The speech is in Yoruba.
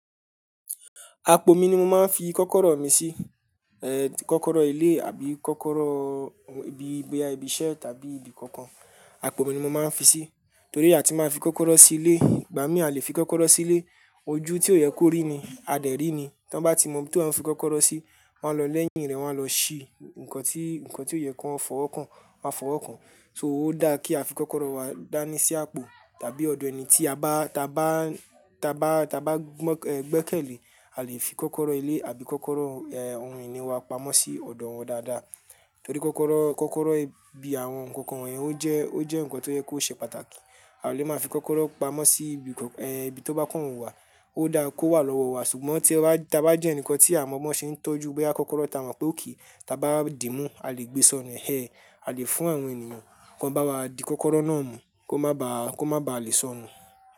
Àpò mi ni mo máa ń fi kọ́kọ́rọ́ mi sí, eh, kọ́kọ́rọ́ ilé àbí kọ́kọ́rọ́ ibi, boya ibi iṣẹ́ tàbí ibi kankan. Àpò mi ni mo máa ń fi sí, torí pé àti máa fi kọ́kọ́rọ́ sí ilé, ìgbà mí à lè fi kọ́kọ́rọ́ sí ilé, ojú tí ó yẹ kó rí ni, a dẹ̀ rí ni. Tán bá ti mọ bí tó ń fi kọ́kọ́rọ́ sí, wọ́n á lọ lẹ́yìn rẹ́, wọ́n á lọ ṣí ǹkan tí, ǹkan tí ó yẹ kó fọwọ́ kàn, wọn a fọwọ́ kàn. So ó dá kí a fi kọ́kọ́rọ́ wa dání sí àpò tàbí ọ̀dọ̀ ẹni tí a bá, ta bá, ta bá, ta bá gbẹ́kẹ̀lé. A lè fi kọ́kọ́rọ́ ilé àbí kọ́kọ́rọ́ ohun ìní wa pamọ́ sí ọ̀dọ̀ wọn dáadáa. Torí kọ́kọ́rọ́, kọ́kọ́rọ́ ibi àwọn nǹkan wọ̀n yẹn ó jẹ́, ó jẹ́ ǹkan tó yẹ kó ṣe pàtàkì. A ò lè máa fi kọ́kọ́rọ́ pamọ́ sí ibi, ibi tó bá kàn wu wà, ó dáa kó wà lọ́wọ́ wa. Ṣùgbọ́n tí ẹ bá, ta bá jẹ́ ǹkan tí àwọn ọmọ ṣe ń tọ́jú bóyá kọ́kọ́rọ́ ta mọ̀ pé ò kí ń ta bá dìímú, a lè gbé sọnù. A lè fún àwọn ènìyàn kí wọ́n bá wa di kọ́kọ́rọ́ náà mú, kó má ba, kó má ba à lè sọnù.